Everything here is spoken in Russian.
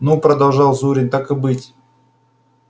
ну продолжал зурин так и быть